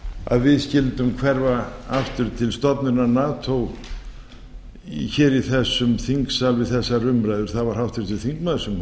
að við skyldum hverfa aftur til stofnunar nato hér í þessum þingsal við þessar umræður það var háttvirtur þingmaður sem hóf